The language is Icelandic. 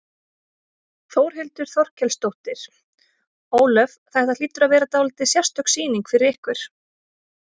Þórhildur Þorkelsdóttir: Ólöf, þetta hlýtur að vera dálítið sérstök sýning fyrir ykkur?